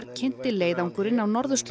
kynnti leiðangurinn á